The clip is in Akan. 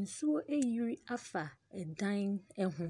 Nsuo ayiri afa dan ho.